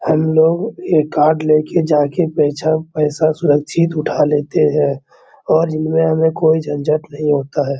हम लोग ये कार्ड ले के जाके पैसा पैसा सुरक्षित उठा लेते हैं और जिनमें हमे कोई झंझट नहीं होता है।